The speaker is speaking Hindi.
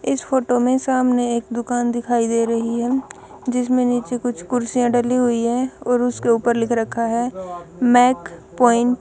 इस फोटो में सामने एक दुकान दिखाई दे रही है जिसमें नीचे कुछ कुर्सियां डली हुई है और उसके ऊपर लिख रखा है मेक पॉइंट --